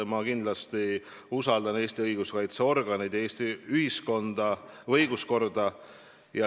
Ma kindlasti usaldan Eesti õiguskaitseorganeid, Eesti ühiskonda, Eesti õiguskorda.